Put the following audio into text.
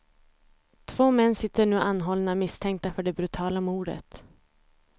Två män sitter nu anhållna misstänkta för det brutala mordet.